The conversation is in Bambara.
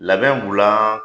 Labɛn b'u la